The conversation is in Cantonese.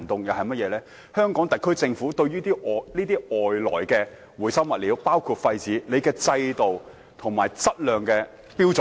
香港特區政府對於外來包括廢紙等回收物料，有何制度和質量標準？